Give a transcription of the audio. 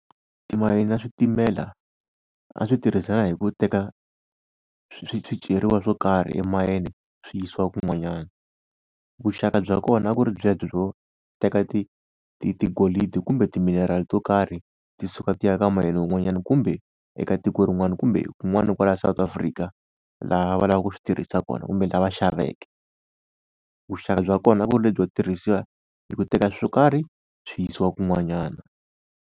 Timayini na switimela a swi tirhisana hi ku teka swiceriwa swo karhi emayini swi yisiwa kun'wanyana. Vuxaka bya kona a ku ri byebyo byo teka tigolidi kumbe timinerali to karhi, ti suka ti ya ka mayini wun'wanyana, kumbe eka tiko rin'wani, kumbe kun'wani kwala South Afrika laha a va lava ku swi tirhisa kona, kumbe la va xaveke. Vuxaka bya kona a ku ri lebyo tirhisiwa hi ku teka swo karhi swi yisiwa kun'wanyana.